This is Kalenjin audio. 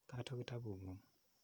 Kato kitaput ng'ung'.